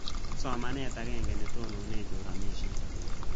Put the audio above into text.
Ak somanet ag'eng'e ne tonone choranishet